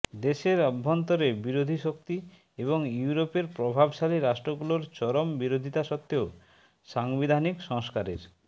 দেশের অভ্যন্তরে বিরোধী শক্তি এবং ইউরোপের প্রভাবশালী রাষ্ট্রগুলোর চরম বিরোধিতা সত্ত্বেও সাংবিধানিক সংস্কারের